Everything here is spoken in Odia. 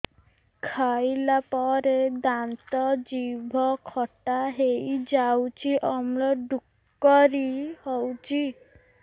ଖାଇଲା ପରେ ଦାନ୍ତ ଜିଭ ଖଟା ହେଇଯାଉଛି ଅମ୍ଳ ଡ଼ୁକରି ହଉଛି